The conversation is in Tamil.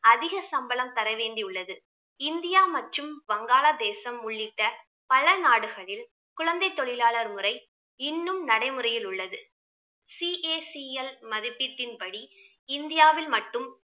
அதிக சம்பளம் தர வேண்டி உள்ளது. இந்தியா மற்றும் வங்காளதேசம் உள்ளிட்ட பல நாடுகளில் குழந்தை தொழிலாளர் முறை இன்னும் நடைமுறையில் உள்ளது. CACL மதிப்பீட்டின்படி இந்தியாவில் மட்டும்